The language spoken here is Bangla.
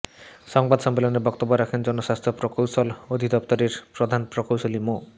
সংবাদ সম্মেলনে বক্তব্য রাখেন জনস্বাস্থ্য প্রকৌশল অধিদপ্তরের প্রধান প্রকৌশলী মো